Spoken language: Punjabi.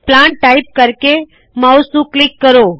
ਪਲਾਂਟ ਟਾਇਪ ਕਰਕੇ ਮਾਉਸ ਨੂੰ ਕਲਿੱਕ ਕਰੋ